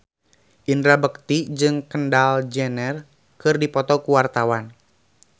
Indra Bekti jeung Kendall Jenner keur dipoto ku wartawan